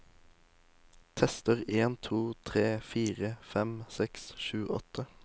Tester en to tre fire fem seks sju åtte